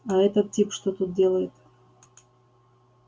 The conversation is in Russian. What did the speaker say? а этот тип что тут делает